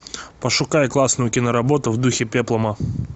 пошукай классную киноработу в духе пеплума